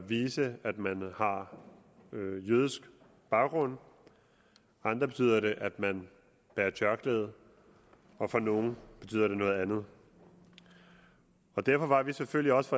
vise at man har jødisk baggrund for andre betyder det at man bærer tørklæde og for nogle betyder det noget andet derfor var vi selvfølgelig også